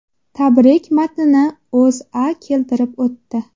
Tabrik matnini O‘zA keltirib o‘tdi .